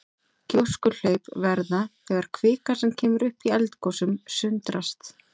Gjóskuhlaup verða þegar kvika sem kemur upp í eldgosum sundrast.